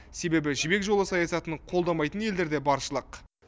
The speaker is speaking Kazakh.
себебі жібек жолы саясатын қолдамайтын елдер де баршылық